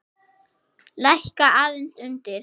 Lækka aðeins undir.